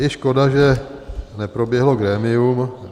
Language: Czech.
Je škoda, že neproběhlo grémium.